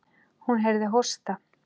Hún heyrði hósta.